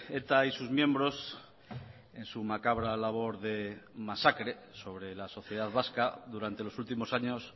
eta y sus miembros en su macabra labor de masacre sobre la sociedad vasca durante los últimos años